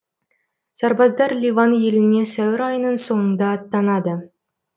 сарбаздар ливан еліне сәуір айының соңында аттанады